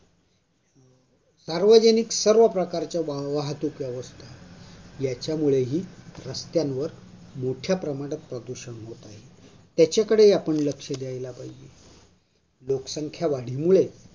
सार्वजनिक सर्वप्रकारच्या वह् वाहतूक व्यवस्था याच्यामुळेही रस्त्यांवर मोठ्या प्रमाणात प्रदूषण होत आहे, त्याच्याकडे आपन लक्ष दिले पाहिजे लोकसंख्या वाढीमुळे